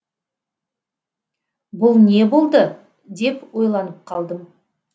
бұл не болды деп ойланып қалдым